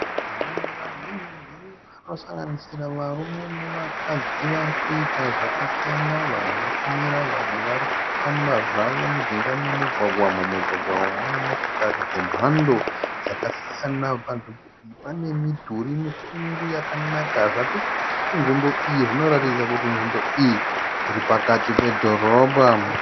Vanhu vazhinji vanosanganisira varume nevakadzi vari kuita zvakasiyana vamwe vakamira vamwe vari kufamba zvavo mujinga memugwagwa mumugwagwa umu mune motokari dzemhando dzakasiyana panzvimbo iyi pane midhuri mikuru yakanaka zvatirikuona panzvimbo iyi zvinoratidza kuti nzvimbo iyi iri pakati pedhorobha.